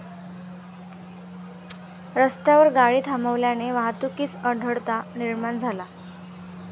रस्त्यात गाडी थांबवल्याने वाहतुकीस अडथळा निर्माण झाला.